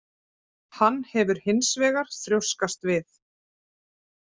Hann hefur hins vegar þrjóskast við